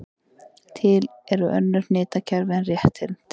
Til eru önnur hnitakerfi en rétthyrnd.